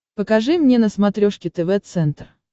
покажи мне на смотрешке тв центр